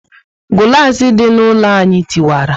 Gulasi dị na ụlọ anyị tiwara